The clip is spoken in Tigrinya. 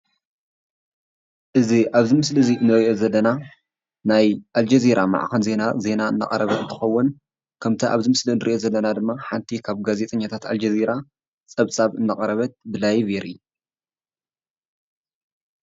እዚ ኣብዚ ምስሊ ንሪኦ ዘለና ናይ ኣልጀዚራ ማዕከን ዜና ዜና እናቐረበ እንትኸውን ከምቲ ኣብዚ ምስሊ ንሪኦ ዘለና ድማ ሓንቲ ካብ ጋዜጠኛታት ኣልጀዚራ ፀብፃብ እናቐረበት ብ ላይቭ የርኢ።